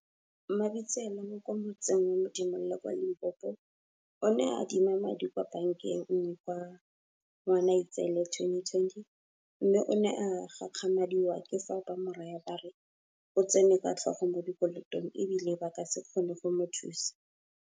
Mabitsela, wa kwa motseng wa Modimolle kwa Limpopo, o ne a adima madi kwa bankeng nngwe ka Ngwanaitseele 2020, mme o ne a gakgamadiwa ke fa ba mo raya ba re o tsene ka tlhogo mo dikolotong e bile ba ka se kgone go mo thusa.